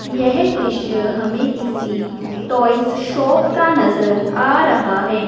यह दृश्य हमें किसी टॉयज शॉप का नजर आ रहा है।